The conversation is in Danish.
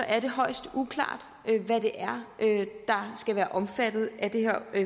er det højst uklart hvad det er der skal være omfattet af det her